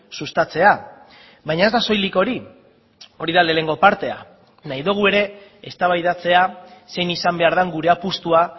sustatzea baina ez da soilik hori hori da lehenengo partea nahi dugu ere eztabaidatzea zein izan behar den gure apustua